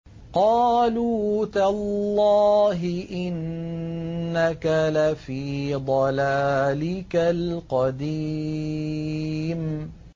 قَالُوا تَاللَّهِ إِنَّكَ لَفِي ضَلَالِكَ الْقَدِيمِ